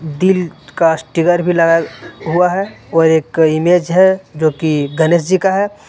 दिल का स्टीकर भी लगा हुआ है और एक इमेज है जो की गनेश जी का है।